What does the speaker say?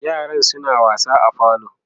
yaran suna wasa a falo